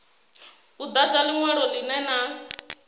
u dadza linwalo linwe na